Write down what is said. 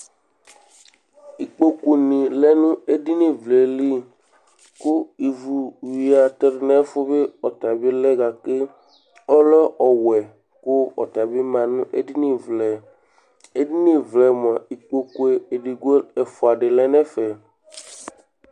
ɩƙpoƙʊŋɩ lɛ ŋ'éɖɩŋɩ ʋlɛ lɩ, ƙʊ ɩʋʊ wɩa teɖʊ ŋɛƒʊ ɔtabɩ lɛ gaƙé ɔlɛ ɔwè ƙʊ ɔtabɩ ma ŋéɖiŋɩ ʋlɛ Éɖiŋɩ ʋlɛ moa ɩƙpoƙʊ ɛƒoa ɖɩ lɛ ŋɛƒɛ